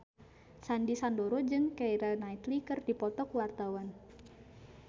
Sandy Sandoro jeung Keira Knightley keur dipoto ku wartawan